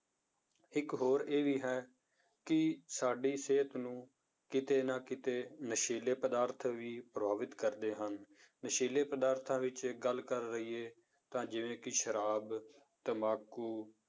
ਇੱਕ ਹੋਰ ਇਹ ਵੀ ਹੈ ਕਿ ਸਾਡੀ ਸਿਹਤ ਨੂੰ ਕਿਤੇ ਨਾ ਕਿਤੇ ਨਸ਼ੀਲੇ ਪਦਾਰਥ ਵੀ ਪ੍ਰਭਾਵਿਤ ਕਰਦੇ ਹਨ, ਨਸ਼ੀਲੇ ਪਦਾਰਥਾਂ ਵਿੱਚ ਗੱਲ ਕਰ ਲਈਏ ਤਾਂ ਜਿਵੇਂ ਕਿ ਸ਼ਰਾਬ, ਤੰਬਾਕੂ